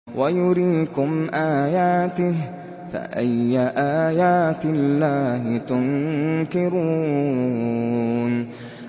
وَيُرِيكُمْ آيَاتِهِ فَأَيَّ آيَاتِ اللَّهِ تُنكِرُونَ